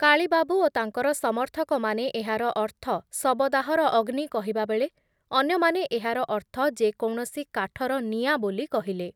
କାଳୀବାବୁ ଓ ତାଙ୍କର ସମର୍ଥକମାନେ ଏହାର ଅର୍ଥ ଶବଦାହର ଅଗ୍ନି କହିବାବେଳେ ଅନ୍ୟମାନେ ଏହାର ଅର୍ଥ ଯେ କୌଣସି କାଠର ନିଆଁ ବୋଲି କହିଲେ ।